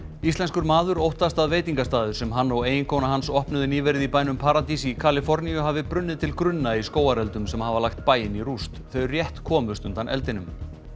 íslenskur maður óttast að veitingastaður sem hann og eiginkona hans opnuðu nýverið í bænum paradís í Kaliforníu hafi brunnið til grunna í skógareldum sem hafa lagt bæinn í rúst þau rétt komust undan eldinum